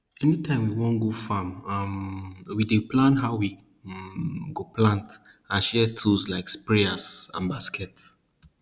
anytime we wan go farm um we dey plan how we um go plant and share tools like sprayers and baskets